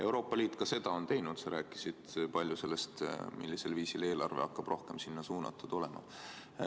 Euroopa Liit on seda ka teinud, sa rääkisid palju sellest, millisel viisil eelarve hakkab rohkem sellele suunatud olema.